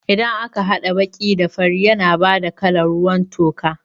Idan ka haɗa baƙi da fari yana bada kalan ruwan toka